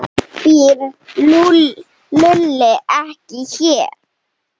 Býr Lúlli ekki hér?